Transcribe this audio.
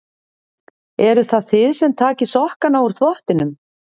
Eruð það þið sem takið sokkana úr þvottinum?